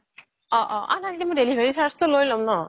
অহ্' অহ্' অহ্ না আৰু সেই delivery charge তো লৈ লম ন